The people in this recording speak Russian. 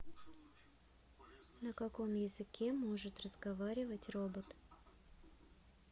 на каком языке может разговаривать робот